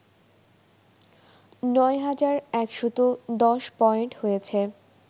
৯ হাজার১১০ পয়েন্ট হয়েছে